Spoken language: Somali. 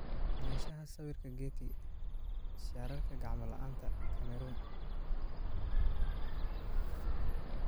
Lahaanshaha sawirka Getty Images Image caption Shaararka gacmo la'aanta, Cameroon?